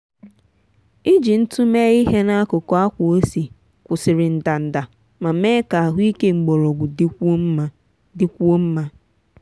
iji ntụ mee ihe n'akụkụ akwa ose kwụsịrị ndanda ma mee ka ahụike mgbọrọgwụ dịkwuo mma. dịkwuo mma.